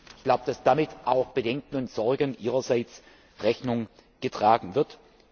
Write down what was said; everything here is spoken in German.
Ich glaube, dass damit auch Bedenken und Sorgen Ihrerseits Rechnung getragen wird.